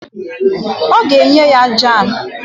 Ọ ga-enye ya jam